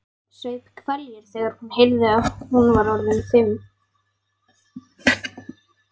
Saup hveljur þegar hún heyrði að hún var orðin fimm.